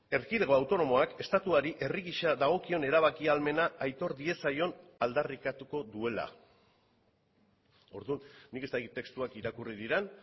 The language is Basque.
erkidego autonomoak estatuari herri gisa dagokion erabaki ahalmena aitor diezaion aldarrikatuko duela orduan nik ez dakit testuak irakurri diren